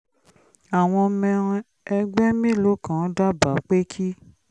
àwọn ọmọ ẹgbẹ́ mélòó kan dábàá pé kí